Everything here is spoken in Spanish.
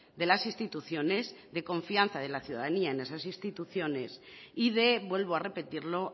de las instituciones de confianza en la ciudadanía en esas instituciones y de vuelvo a repetirlo